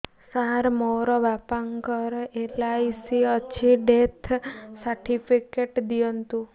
ସାର ମୋର ବାପା ଙ୍କର ଏଲ.ଆଇ.ସି ଅଛି ଡେଥ ସର୍ଟିଫିକେଟ ଦିଅନ୍ତୁ